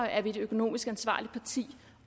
er et økonomisk ansvarligt parti